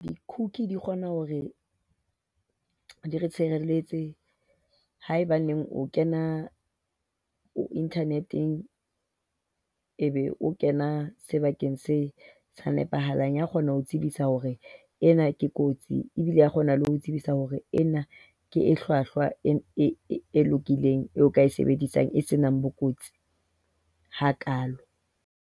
Di-cookie di kgona hore di re tshireletse haebaneng o kena internet-eng, ebe o kena sebakeng se sa nepahalang. E a kgona ho o tsebisa hore ena ke kotsi e bile e a kgona ho tsebisa hore ena ke e hlwahlwa, e lokileng eo o ka e sebedisang. E senang bokotsi hakaalo.